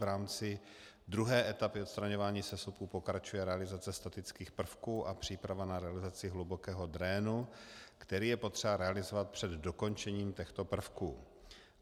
V rámci druhé etapy odstraňování sesuvu pokračuje realizace statických prvků a příprava na realizaci hlubokého drénu, který je potřeba realizovat před dokončením těchto prvků.